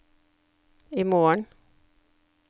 imorgen